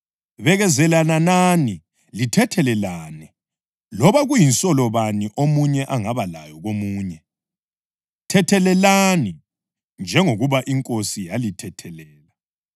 Bekezelelanani, lithethelelane loba kuyinsolo bani omunye angaba layo ngomunye. Thethelelani njengoba iNkosi yalithethelela.